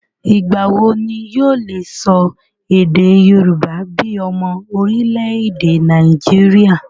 Ìgbà wo ni yóò le sọ èdè yorùbá bíi ọmọ orílẹ̀-èdè Nàìjíríà?